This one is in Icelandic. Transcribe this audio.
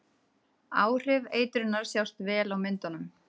Áhrif eitrunarinnar sjást vel á myndunum.